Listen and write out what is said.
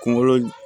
Kungolo